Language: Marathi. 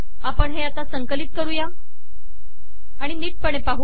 आपण हे संकलित करू आणि नीटपणे पाहू